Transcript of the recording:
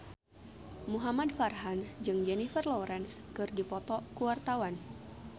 Muhamad Farhan jeung Jennifer Lawrence keur dipoto ku wartawan